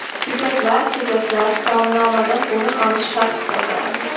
Ko‘katlar Ko‘katlar taomnomadan o‘rin olishi shart hisoblanadi.